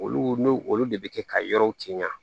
Olu n'o olu de bɛ kɛ ka yɔrɔ cɛ ɲa